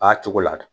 A cogo la